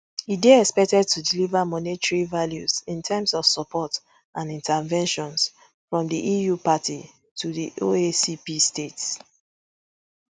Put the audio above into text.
e dey expected to deliver monetary values in terms of support and interventions from di eu parties to di oacp states